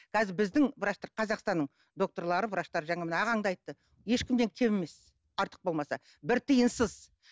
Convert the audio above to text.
қазір біздің врачтар қазақстанның докторлары врачтары жаңа мына ағаң да айтты ешкімнен кем емес артық болмаса бір тиынсыз